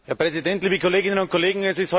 Herr Präsident, liebe Kolleginnen und Kollegen!